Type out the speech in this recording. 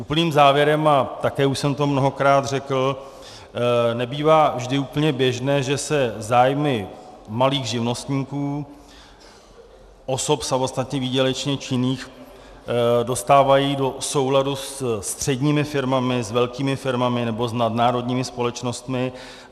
Úplným závěrem, a také už jsem to mnohokrát řekl, nebývá vždy úplně běžné, že se zájmy malých živnostníků, osob samostatně výdělečně činných, dostávají do souladu se středními firmami, s velkými firmami nebo s nadnárodními společnostmi.